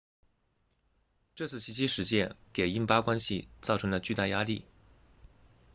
这次袭击事件给印巴关系造成了巨大压力